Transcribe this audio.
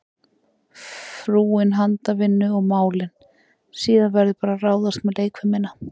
Frúin handavinnu og málin, síðan verður bara að ráðast með leikfimina.